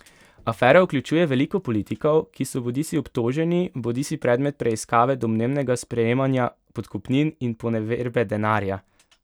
Afera vključuje veliko politikov, ki so bodisi obtoženi bodisi predmet preiskave domnevnega sprejemanja podkupnin in poneverbe denarja.